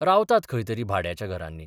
रावतात खंय तरी भाड्याच्या घरांनी.